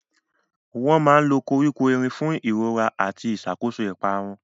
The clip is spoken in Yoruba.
Wọ́n máa ń lo koríko erin fún ìrora àti ìṣàkóso ìparun.